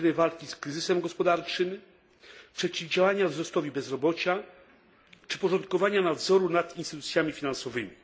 aktywnej walki z kryzysem gospodarczym, przeciwdziałania wzrostowi bezrobocia czy porządkowania nadzoru nad instytucjami finansowymi.